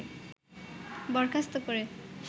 বরখাস্ত করে